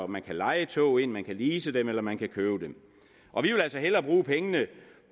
man kan leje tog man kan lease dem eller man kan købe dem og vi vil altså hellere bruge pengene